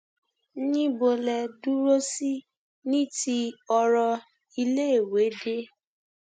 níbo lẹ dúró sí ní ti ọrọ iléèwé dé